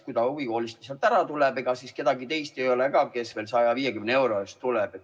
Kui ta huvikoolist ära tuleks, ega siis kedagi teist ka ei oleks, kes 150 euro eest tuleks.